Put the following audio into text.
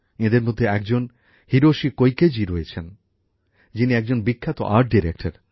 এঁদের মধ্যে একজন হিরোশি কোইকেজি রয়েছেন যিনি একজন বিখ্যাত আর্ট ডিরেক্টর